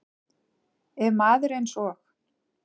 Ef maður eins og